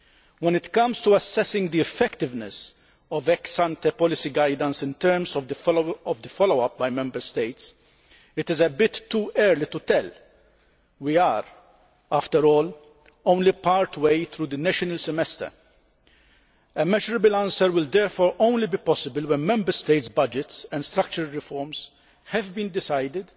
When it comes to assessing the effectiveness of ex ante policy guidance in terms of the follow up by Member States, it is a bit too early to tell we are, after all, only part way through the national semester'. A measurable answer will therefore only be possible when Member States' budgets and structural reforms have been decided